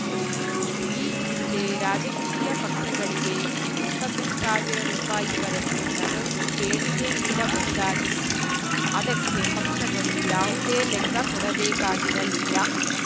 ಈ ಹಿಂದೆ ರಾಜಕೀಯ ಪಕ್ಷಗಳಿಗೆ ಇಪ್ಪತ್ತು ಸಾವಿರ ರೂಪಾಯಿ ವರೆಗೂ ನಗದು ದೇಣಿಗೆ ನೀಡಬಹುದಾಗಿತ್ತು ಅದಕ್ಕೆ ಪಕ್ಷಗಳು ಯಾವುದೇ ಲೆಕ್ಕ ಕೊಡಬೇಕಾಗಿರಲಿಲ್ಲ